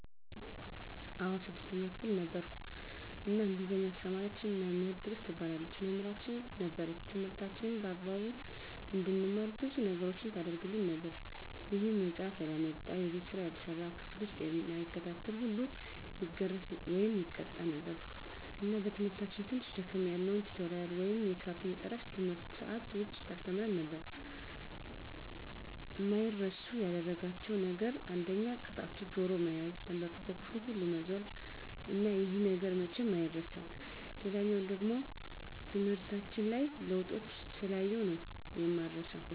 አዎ ነበር 6ተኛ ክፍል ነበርኩ እና እንግሊዝ አስተማሪያችን መምህር ትግስት ትባላለች መምህራችን ነበረች ትምህርታችንን በአግባቡ እንድንማር ብዙ ነገሮችን ታረግልን ነበር ይሄም መፃሐፍ ያላመጣ፣ የቤት ስራ ያልሰራ፣ ክፍል ዉስጥ እማይከታተል ሁሉ ይገረፍ( ይቀጣ ) ነበር እና በትምህርታችን ትንሽ ደከም ያልነዉን ቲቶሪያል ወይም ሜካፕ እየጠራች ከትምህርት ሰአት ዉጭ ታስተምረን ነበር። አማይረሱ ያደረጋቸዉ ነገር አንደኛ ቅጣቱ ጆሮ መያዝ፣ ተንበርክኮ ክፍሉን ሁሉ መዞር እና ይሄ ነገር መቼም አይረሳም። ሌላኛዉ ደሞ ትምህርታችን ላይ ለዉጦችን ስላየሁ ነዉ እማረሳዉ።